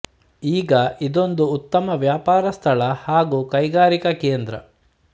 ಈಗ ಇದೊಂದು ಉತ್ತಮ ವ್ಯಾಪಾರ ಸ್ಥಳ ಹಾಗೂ ಕೈಗಾರಿಕಾ ಕೇಂದ್ರ